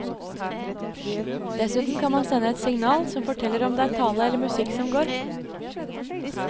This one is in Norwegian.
Dessuten kan man sende et signal som forteller om det er tale eller musikk som går.